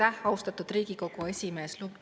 Aitäh, austatud Riigikogu esimees!